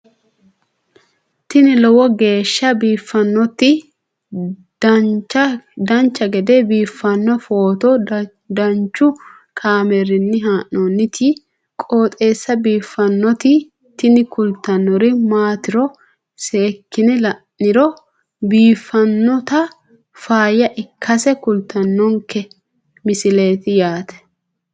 tini lowo geeshsha biiffannoti dancha gede biiffanno footo danchu kaameerinni haa'noonniti qooxeessa biiffannoti tini kultannori maatiro seekkine la'niro biiffannota faayya ikkase kultannoke misileeti yaate